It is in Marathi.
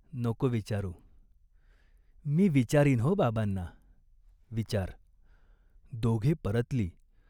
नको विचारू." "मी विचारीन हो बाबांना." "विचार" दोघे परतली.